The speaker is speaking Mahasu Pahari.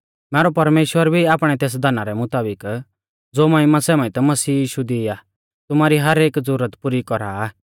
मैरौ परमेश्‍वर भी आपणै तेस धना रै मुताबिक ज़ो महिमा समेत मसीह यीशु दी आ तुमारी हर एक ज़ुरत पुरी कौरा आ